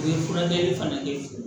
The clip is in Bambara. U ye furakɛli fana kɛ